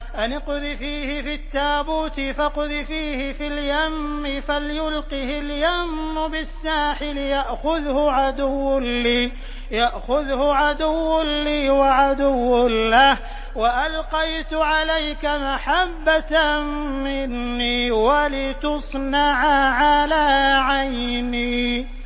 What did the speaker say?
أَنِ اقْذِفِيهِ فِي التَّابُوتِ فَاقْذِفِيهِ فِي الْيَمِّ فَلْيُلْقِهِ الْيَمُّ بِالسَّاحِلِ يَأْخُذْهُ عَدُوٌّ لِّي وَعَدُوٌّ لَّهُ ۚ وَأَلْقَيْتُ عَلَيْكَ مَحَبَّةً مِّنِّي وَلِتُصْنَعَ عَلَىٰ عَيْنِي